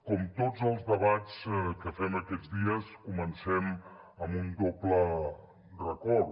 com tots els debats que fem aquests dies comencem amb un doble record